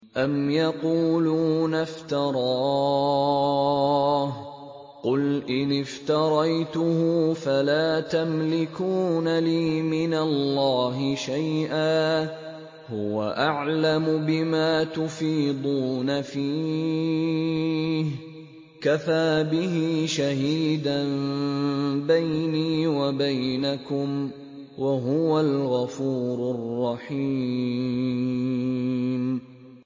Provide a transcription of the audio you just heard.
أَمْ يَقُولُونَ افْتَرَاهُ ۖ قُلْ إِنِ افْتَرَيْتُهُ فَلَا تَمْلِكُونَ لِي مِنَ اللَّهِ شَيْئًا ۖ هُوَ أَعْلَمُ بِمَا تُفِيضُونَ فِيهِ ۖ كَفَىٰ بِهِ شَهِيدًا بَيْنِي وَبَيْنَكُمْ ۖ وَهُوَ الْغَفُورُ الرَّحِيمُ